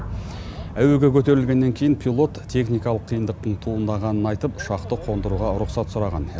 әуеге көтерілгеннен кейін пилот техникалық қиындықтың туындағанын айтып ұшақты қондыруға рұқсат сұраған